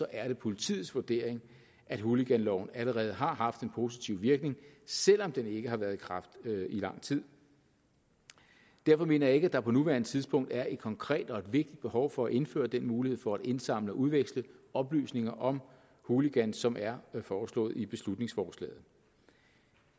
er det politiets vurdering at hooliganloven allerede har haft en positiv virkning selv om den ikke har været i kraft i lang tid derfor mener jeg ikke at der på nuværende tidspunkt er et konkret og et vigtigt behov for at indføre den mulighed for at indsamle og udveksle oplysninger om hooligans som er foreslået i beslutningsforslaget